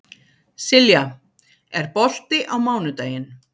Silja, er bolti á mánudaginn?